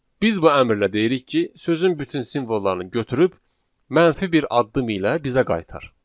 Biz bu əmrlə deyirik ki, sözün bütün simvollarını götürüb mənfi bir addım ilə bizə qaytar.